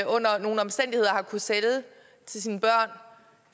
under nogle omstændigheder sælge til sine børn